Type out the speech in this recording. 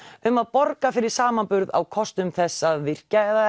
um að borga fyrir samanburð á kostum þess að virkja eða